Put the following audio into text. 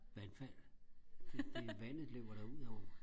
vandfald det det vandet løber da ud over